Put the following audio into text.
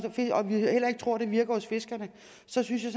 og vi heller ikke tror det virker hos fiskerne synes jeg